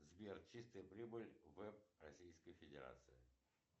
сбер чистая прибыль в российской федерации